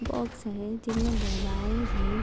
Box है जिनमे दवाएं है।